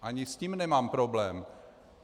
Ani s tím nemám problém.